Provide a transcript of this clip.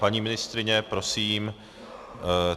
Paní ministryně, prosím.